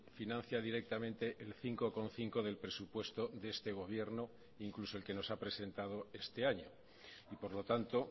financia directamente el cinco coma cinco del presupuesto de este gobierno incluso el que nos ha presentado este año y por lo tanto